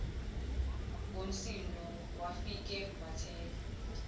ngomsindo wafike wathenga